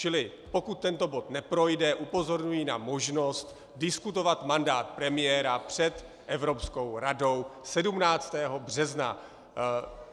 Čili pokud tento bod neprojde, upozorňuji na možnost diskutovat mandát premiéra před Evropskou radou 17. března.